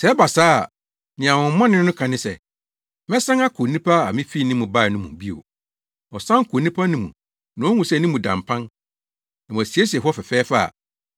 Sɛ ɛba saa a, nea honhommɔne no ka ne se, ‘Mɛsan akɔ onipa a mifii ne mu bae no mu bio.’ Ɔsan kɔ onipa no mu na ohu sɛ ne mu da mpan, na wɔasiesie hɔ fɛfɛɛfɛ a,